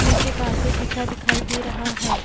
नीचे कारपेट बिछा दिखाई दे रहा है।